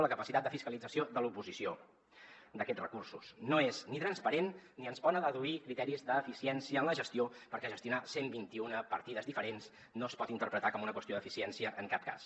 la capacitat de fiscalització de l’oposició d’aquests recursos no és ni transparent ni es poden adduir criteris d’eficiència en la gestió perquè gestionar cent i vint un partides diferents no es pot interpretar com una qüestió d’eficiència en cap cas